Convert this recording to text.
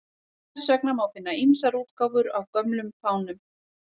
Þess vegna má finna ýmsar útgáfur af gömlum fánum.